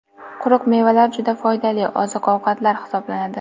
Quruq mevalar juda foydali oziq-ovqatlar hisoblanadi.